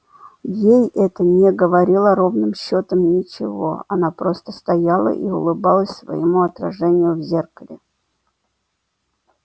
ей это не говорило ровным счётом ничего она просто стояла и улыбалась своему отражению в зеркале